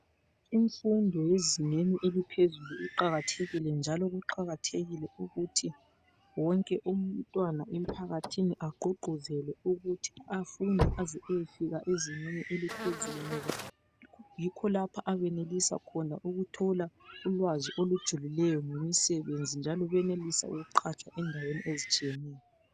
Imfundo yezingeni eliphezulu iqakathekile njalo kuqakathekile ukuthi wonke umntwana emphakathini agqugquzelwe ukuthi afunde aze ayefika ezingeni eliphezulu. Ngoba yikho lapho ayenelisa ukuthola ulwazi olujulileyo ngemisebenzi njalo wenelise lokuqhatshwa endaweni ezitshiyeneyo.